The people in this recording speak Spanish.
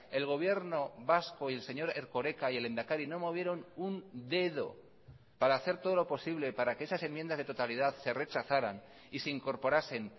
el gobierno vasco y el señor erkoreka y el lehendakari no movieron un dedo para hacer todo lo posible para que esas enmiendas de totalidad se rechazaran y se incorporasen